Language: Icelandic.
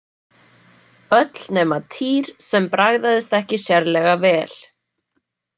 Öll nema Týr, sem bragðaðist ekki sérlega vel.